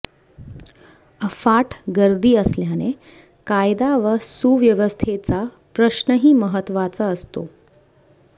अफाट गर्दी असल्याने कायदा व सुव्यवस्थेचा प्रश्नही महत्वाचा असतो